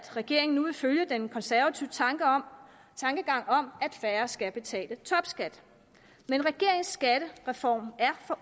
regeringen nu vil følge den konservative tankegang om at færre skal betale topskat men regeringens skattereform